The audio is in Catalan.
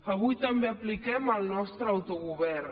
avui també apliquem el nostre autogovern